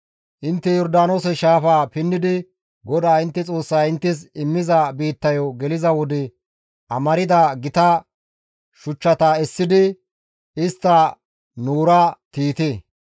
Intte Yordaanoose shaafaa pinnidi GODAA intte Xoossay inttes immiza biittayo geliza wode amarda gita shuchchata essidi istta noora tiyite.